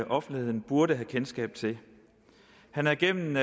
offentligheden burde have kendskab til han havde gennem